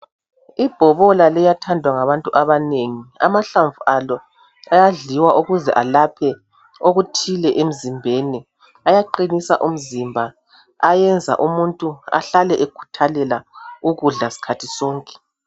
Ibhobola liyathandwa ngabantu abanengi. Amahlamvu alo ayadliwa ukuze alaphe okuthile emzimbeni. Ayaqinisa umzimba. Ayenza umuntu ehlale ekhuthalela ukudla skhathi sonke.